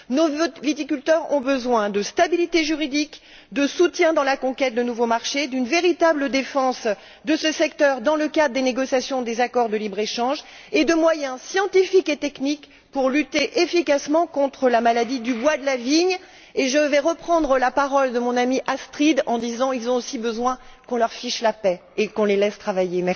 Nos viticulteurs ont besoin de stabilité juridique, de soutien dans la conquête de nouveaux marchés, d'une véritable défense de ce secteur dans le cadre des négociations des accords de libre échange et de moyens scientifiques et techniques pour lutter efficacement contre la maladie du bois de la vigne, et je vais reprendre les mots de mon amie Astrid, en disant qu'ils ont aussi besoin qu'on leur fiche la paix et qu'on les laisse travailler.